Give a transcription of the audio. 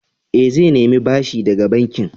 Eh, zai nemi bashi daga bankin.